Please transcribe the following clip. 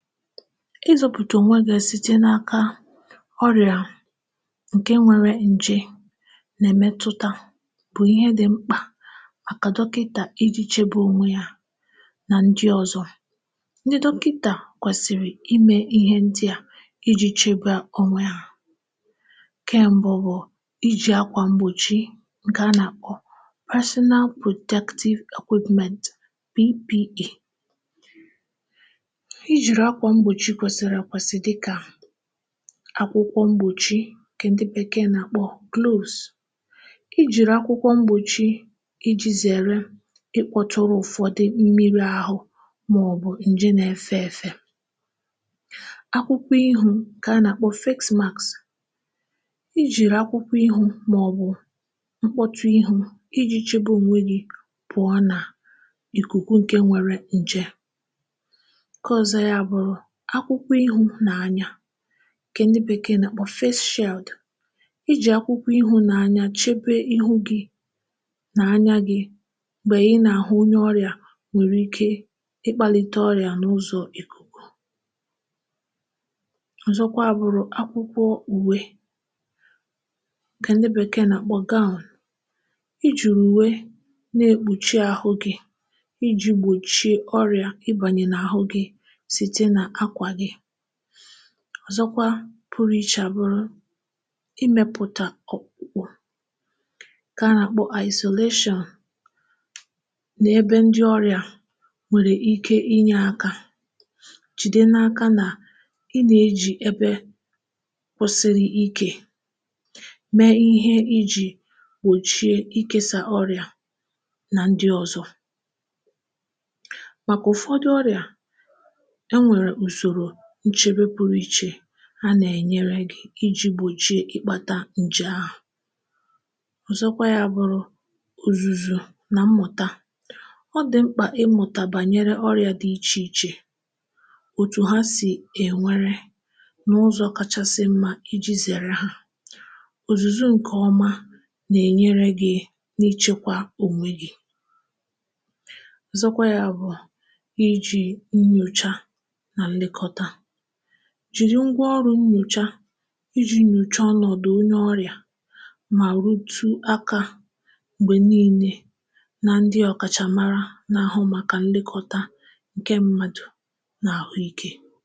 Ịchekwa onwe gị pụọ n’aka ọrịa ǹké nwere ǹjè bụ ihe dị mkpa, ọkachasị maka ndị dọkịta bụ ndị kwesiri ịchekwa onwe ha na ndị ọzọ. Ndị dọkịta kwesiri ime ihe kwesịrị ekwesị iji chebe onwe ha. Otu n’ime ihe ndị a bụ iji akwa mgbochi, nke a na-akpọ personal protective equipment P P E. Akwụkwọ mgbochi n’aka, nke ndị bekee na-akpọ gloves, na-enyere iji zere ịmetụ mmiri ahụ ma ọ bụ nje na-efe efe. E nwekwara akwụkwọ ihu, nke a na-akpọ face mask. Ị na-eji akwụkwọ ihu ma ọ bụ mkpuchi ihu iji chebe onwe gị pụọ n’ìkùkù nwere nje. Otu ọzọ bụ akwụkwọ ihu a na-akpọ face shield. Ị na-eji face shield ichebe ihu gị na anya gị, ọkachasị mgbe ị na-ahụ onye ọrịa nwere ike ịkpalite ọrịa site n’ụzọ ikuku. um E nwekwara akwa uwe nchekwa a na-akpọ gown. Ị na-eyi gown iji kpuchi ahụ gị ma gbochie ọrịa ịbanye n’ahụ gị. Ihe nchebe ọzọ dị mkpa bụ isolation. Ọ pụtara ịhapụ ndị ọrịa nwere ike ibute ọrịa ka ha nọ n’ebe pụrụ iche. Mgbe ị na-elekọta ndị ọrịa dị otu a, gbalịa iso usoro nchekwa, jiri ngwa kwesịrị ekwesị ka ọrịa ghara ịgbasa n’ebe ndị ọzọ nọ. Ịmụ na ịzụlite ihe ọmụma bụkwa ihe dị mkpa. Ọ dị mkpa ịmụ banyere ụdị ọrịa dị iche iche, otú ha si agbasa, na ụzọ kacha mma iji zere ha. Ịmụ ihe nke ọma na-enyere gị aka ichekwa onwe gị nke ọma. N’ikpeazụ, um ọ dị mkpa ime nnyocha ahụike site n’iji ngwa nyocha ụlọ nyocha, nyochaa ọnọdụ onye ọrịa, ma soro ndị ọkachamara mara nke ọma n’ahụike na nlekọta mmadụ.